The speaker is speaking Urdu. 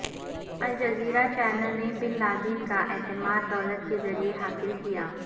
الجزیرہ چینل نے بن لادن کا اعتماد دولت کے ذریعے حاصل کیا